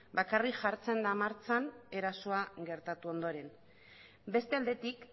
bakarrik jartzen da martxan erasoa gertatu ondoren beste aldetik